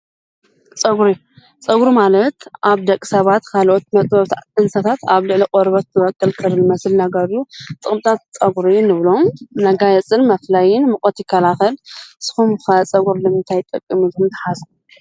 ፀጕሪ፡- ፀጕሪ ማለት ኣብ ደቂ ሰባት ካልኦት መጥበብቲ እንስሳታት ኣብ ልዕሊ ቆርበት ዝበቁል ክሪ ልመስል ነገር እዩ፡፡ ጥቕምታት ፀጕርን እብሎም ነገር እንብሎም መፍላይን ሙቐት ይካላኸል፡፡ ን ስኹም ከ ፀጕሪ ልምንታይ ይጠቕም ኢልኩም ተሓሰቡ?